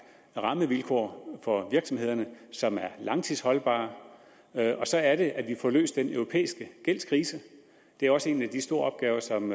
rammevilkår for virksomhederne som er langtidsholdbare og så er det at vi får løst den europæiske gældskrise det er også en af de store opgaver som